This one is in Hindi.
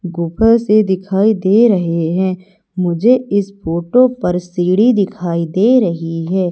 से दिखाई दे रहे हैं मुझे इस फोटो पर सीढी दिखाई दे रही है।